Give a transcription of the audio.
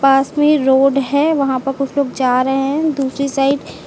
Kashmir road है वहां प कुछ लोग जा रहे हैं दूसरी साइड --